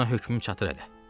Buna hökmüm çatır hələ.